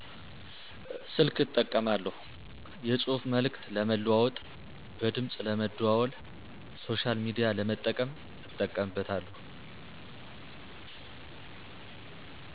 ስልክ እጠቀማለሁ። የፅሁፍ መልዕክት ለመለዋወጥ በድምፅ ለመደዋወል ሶሻል ሚዲያ ለመጠቀም እጠቀምበታለሁ።